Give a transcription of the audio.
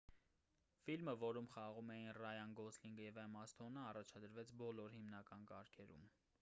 ֆիլմը որում խաղում էին ռայան գոսլինգը և էմմա սթոնը առաջադրվեց բոլոր հիմնական կարգերում